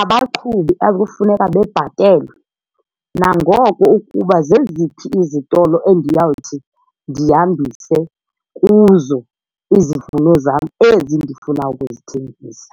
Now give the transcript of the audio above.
abaqhubi akufuneka bebhatelwe nangoko ukuba zeziphi izitolo endiyawuthi ndihambise kuzo izivuno zam ezi ndifuna ukuzithengisa.